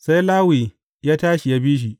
Sai Lawi ya tashi, ya bi shi.